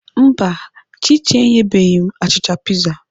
Mba, Chichi enyebeghị m achịcha piza.